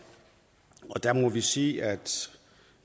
og der må vi sige at